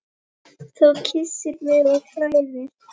Þú kyssir mig og klæðir.